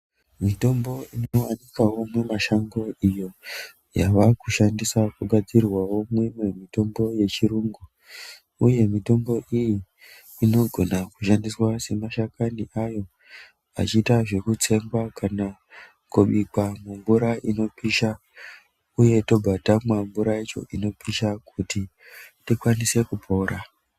Mitombo inowanikawo mumashango iyo yava kushandiswa kugadzirwa mimwe mitombo yechirungu, Uye mitombo iyi inogona kushandiswa semashakani ayo achiita zvekutsengwa kana kubikwa mumvura inopisha uye tobva tamwa mvura yacho inopisha kuti tikwanise kupora.